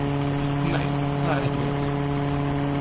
Nei, það er ekki rétt.